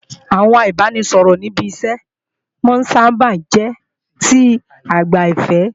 Àwọn ìbáraẹnisọ̀rọ̀ ní ibi iṣẹ́ máa sáábà ń jẹ́ ti aìgbàfẹ́